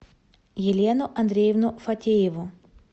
елену андреевну фатееву